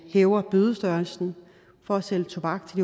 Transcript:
hæver bødestørrelsen for at sælge tobak til